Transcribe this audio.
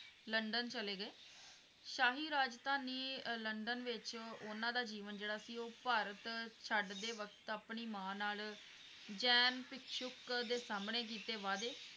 London ਚੱਲੇ ਗਏ। ਸ਼ਾਹੀ ਰਾਜਧਾਨੀ ਅਹ ਲੰਡਨ ਵਿੱਚ ਉਹਨਾਂ ਦਾ ਜੀਵਨ ਜਿਹੜਾ ਸੀ ਉਹ ਭਾਰਤ ਛਡਦੇ ਵਕਤ ਆਪਣੀ ਮਾਂ ਨਾਲ ਜੈਨ ਦੇ ਸਾਹਮਣੇ ਕੀਤੇ ਵਾਦੇ